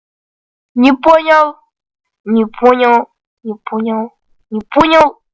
не понял не понял не понял не понял